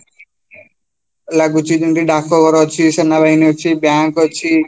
ଲାଗୁଛି ଯେମିତି ଡାକଘର ଅଛି, ସେନାବାହିନୀ ଅଛି, bank ଅଛି